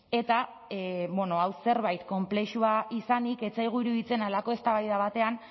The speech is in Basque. eta bueno hau zerbait konplexua izanik ez zaigu iruditzen halako eztabaida batean